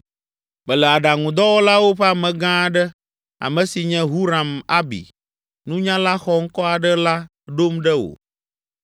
“Mele aɖaŋudɔwɔlawo ƒe amegã aɖe, ame si nye Huram Abi, nunyala xɔŋkɔ aɖe la ɖom ɖe wò.